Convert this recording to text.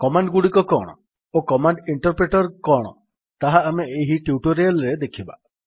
command ଗୁଡ଼ିକ କଣ ଓ କମାଣ୍ଡ୍ ଇଣ୍ଟର୍ ପ୍ରିଟର୍ କଣ ତାହା ଆମେ ଏହି ଟ୍ୟୁଟୋରିଆଲ୍ ରେ ଦେଖିବା